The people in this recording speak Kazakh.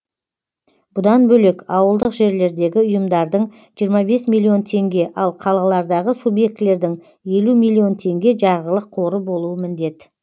бұдан бөлек ауылдық жерлердегі ұйымдардың жиырма бес миллион теңге ал қалалардағы субьектілердің елу миллион теңге жарғылық қоры болуы міндет